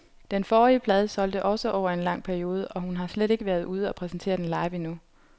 Den forrige plade solgte også over en lang periode, og hun har slet ikke været ude og præsentere den live endnu.